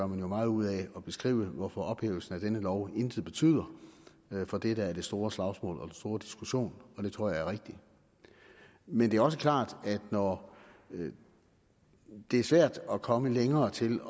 meget ud af at beskrive hvorfor ophævelsen af denne lov intet betyder for det der er det store slagsmål og den store diskussion og det tror jeg er rigtigt men det er også klart at når det er svært at komme længere til